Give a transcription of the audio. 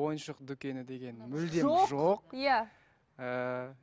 ойыншық дүкені деген мүлдем жоқ иә ііі